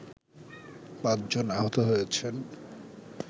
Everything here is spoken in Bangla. ৫ জন আহত হয়েছেন